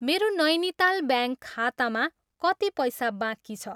मेरो नैनिताल ब्याङ्क खातामा कति पैसा बाँकी छ?